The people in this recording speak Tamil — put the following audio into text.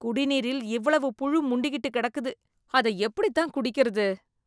குடிநீரில் இவ்வளவு புழு முண்டி கிட்டு கிடக்குது ,அதை எப்படி தான் குடிக்கிறது?